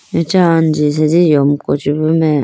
acha anji asenji yomku chi bu mai.